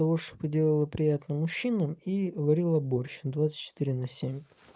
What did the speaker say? лучше бы делала приятно мужчинам и варила борщ двадцать четыре на семь